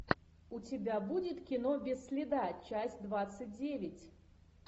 у тебя будет кино без следа часть двадцать девять